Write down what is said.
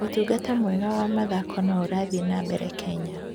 Ũtungata mwega wa mathako no ũrathiĩ na mbere Kenya.